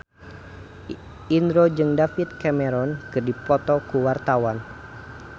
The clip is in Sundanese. Indro jeung David Cameron keur dipoto ku wartawan